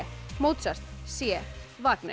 Mozart c